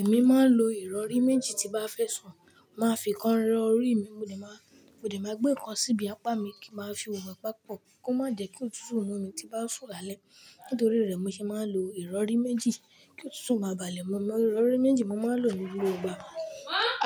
Èmi máa ń lo ìrọrí méjì tí bá fẹ́ sùn. Màá fi kan rọrí mi, mo dẹ̀ má-- mo dẹ̀ má gbé kan síbi apá mi kí màá fi ìwọ̀n bá a papọ̀. Kí ó má jẹ kí òtútù mú mi tí bá sùn lálẹ́. Nítorí rẹ̀ mo ṣe máa ń lo ìrọrí méjì kí òtútù má bà lẹ́ mú mi. Ìrọrí méjì mo máa ń lò ní gbogbo ìgbà.